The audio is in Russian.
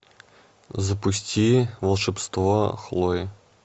запусти волшебство хлои